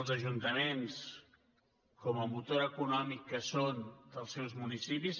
els ajuntaments com a motor econòmic que són dels seus municipis